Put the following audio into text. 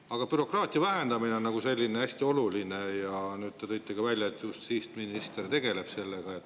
Aga bürokraatia vähendamine on hästi oluline ja nüüd te tõite ka välja, et justiitsminister tegeleb sellega.